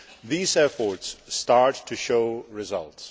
These efforts start to show results.